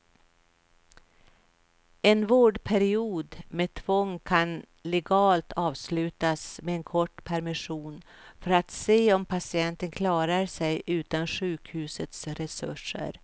En vårdperiod med tvång kan legalt avslutas med en kort permission för att se om patienten klarar sig utan sjukhusets resurser.